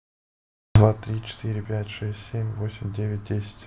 два три четыре пять шесть семь восемь девять десять